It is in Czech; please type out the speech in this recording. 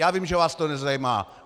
Já vím, že vás to nezajímá.